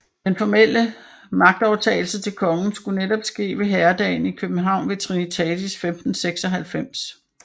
Den formelle magtoverdragelse til kongen skulle netop ske ved herredagen i København ved Trinitatis 1596